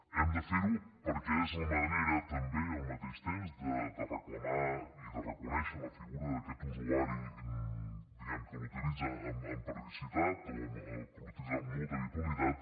hem de fer ho perquè és la manera també al mateix temps de reclamar i de reconèixer la figura d’aquest usuari que l’utilitza amb periodicitat o que l’utilitza amb molta habitualitat